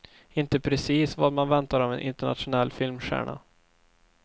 Inte precis vad man väntar av en internationell filmstjärna.